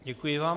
Děkuji vám.